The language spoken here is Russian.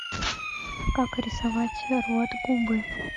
как рисовать рот губы